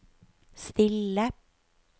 stille